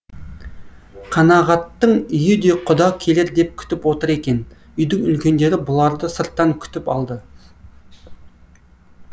қанағаттың үйі де құда келер деп күтіп отыр екен үйдің үлкендері бұларды сырттан күтіп алды